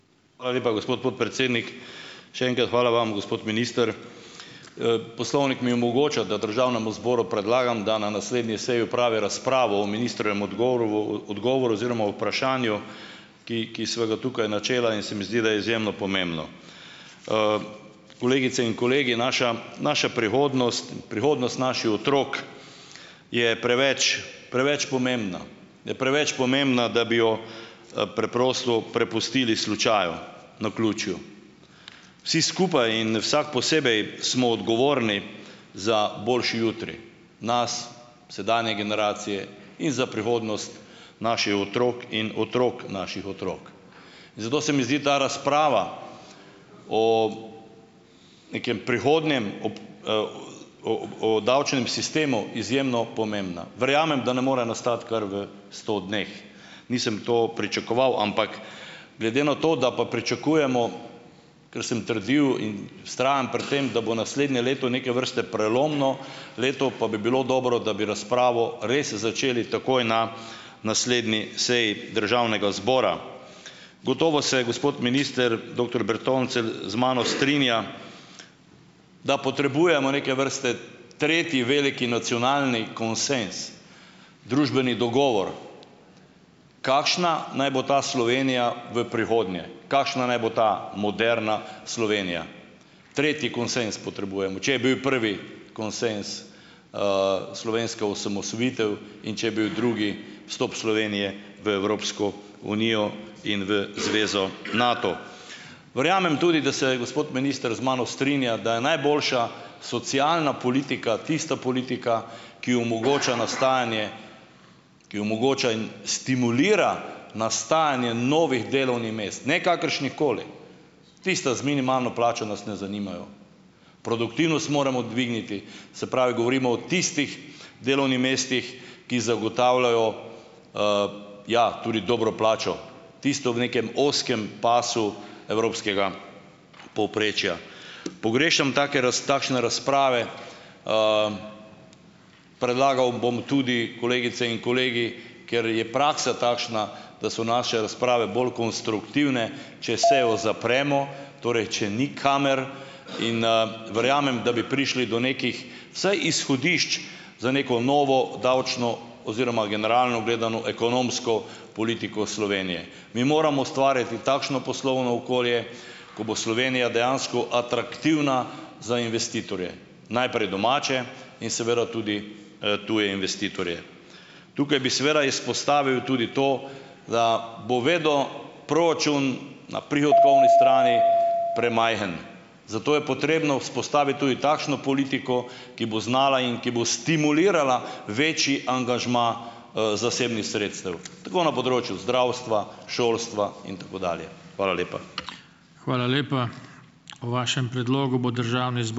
Hvala lepa, gospod podpredsednik. Še enkrat, hvala vam, gospod minister. Poslovnik mi omogoča, da državnemu zboru predlagam, da na naslednji seji opravi razpravo o ministrovem odgovorvu odgovoru oziroma vprašanju, ki, ki sva ga tukaj načela, in se mi zdi, da je izjemno pomembno. Kolegice in kolegi, naša naša prihodnost, prihodnost naših otrok je preveč preveč pomembna, je preveč pomembna, da bi jo preprosto prepustili slučaju, naključju. Vsi skupaj in vsak posebej smo odgovorni za boljši jutri, nas sedanje generacije in za prihodnost naših otrok in otrok naših otrok. In zato se mi zdi ta razprava o nekem prihodnjem, ob, o o davčnem sistemu izjemno pomembna. Verjamem, da ne more nastati kar v sto dneh. Nisem to pričakoval, ampak glede na to, da pa pričakujemo, ker sem trdil, in vztrajam pri tem, da bo naslednje leto neke vrste prelomno leto, pa bi bilo dobro, da bi razpravo res začeli takoj na naslednji seji državnega zbora. Gotovo se gospod minister, doktor Bertoncelj, z mano strinja, da potrebujemo neke vrste tretji veliki nacionalni konsenz, družbeni dogovor, kakšna naj bo ta Slovenija v prihodnje, kakšna naj bo ta moderna Slovenija. Tretji konsenz potrebujemo. Če je bil prvi konsenz, slovenska osamosvojitev, in če je bil drugi vstop Slovenije v Evropsko unijo in v zvezo Nato. Verjamem tudi, da se gospod minister z mano strinja, da je najboljša socialna politika tista politika, ki omogoča nastajanje, ki omogoča in stimulira nastajanje novih delovnih mest, ne kakršnihkoli, tista z minimalno plačo nas ne zanimajo, produktivnost moramo dvigniti, se pravi, govorimo o tistih delovnih mestih, ki zagotavljajo, ja, tudi dobro plačo tisto v nekem ozkem pasu evropskega povprečja. Pogrešam take takšne razprave. Predlagal bom tudi, kolegice in kolegi, ker je praksa takšna, da so naše razprave bolj konstruktivne, če sejo zapremo, torej če ni kamer, in, verjamem, da bi prišli do nekih vsaj izhodišč za neko novo davčno oziroma generalno gledano ekonomsko politiko Slovenije. Mi moramo ustvarjati takšno poslovno okolje, ko bo Slovenija dejansko atraktivna za investitorje, naprej domače in seveda tudi, tuje investitorje. Tukaj bi seveda izpostavil tudi to, da bo vedo proračun na prihodkovni strani premajhen, zato je potrebno vzpostavitvi tudi takšno politiko, ki bo znala in ki bo stimulirala večji angažma, zasebnih sredstev tako na področju zdravstva, šolstva in tako dalje. Hvala lepa.